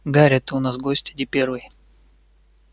гарри ты у нас гость не первый